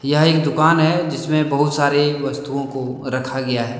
यह एक दुकान है जिस में बहुत सारे वस्तुओं को रखा गया है।